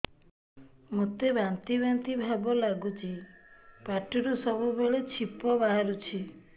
ମୋତେ ବାନ୍ତି ବାନ୍ତି ଭାବ ଲାଗୁଚି ପାଟିରୁ ସବୁ ବେଳେ ଛିପ ବାହାରୁଛି